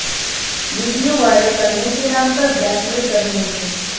video viral करने के नाम पर ब्लैकमेल कर रहे थे